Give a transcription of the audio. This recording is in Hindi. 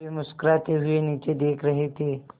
वे मुस्कराते हुए नीचे देख रहे थे